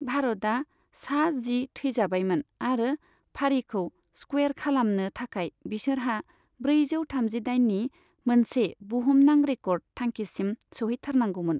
भारतआ सा जि थैजाबायमोन आरो फारिखौ स्कुवेर खालामनो थाखाय बिसोरहा ब्रैजौ थामजिदाइननि मोनसे बुहुमनां रेकर्ड थांखिसिम सोहैथारनांगौमोन।